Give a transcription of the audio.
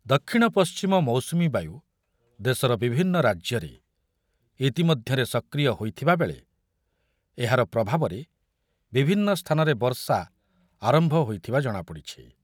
ଦକ୍ଷିଣ ପଶ୍ଚିମ ମୌସୁମୀ ବାୟୁ ଦେଶର ବିଭିନ୍ନ ରାଜ୍ୟରେ ଇତିମଧ୍ୟରେ ସକ୍ରିୟ ହୋଇଥିବାବେଳେ ଏହାର ପ୍ରଭାବରେ ବିଭିନ୍ନ ସ୍ଥାନରେ ବର୍ଷା ଆରମ୍ଭ ହୋଇଥିବା ଜଣାପଡ଼ିଛି ।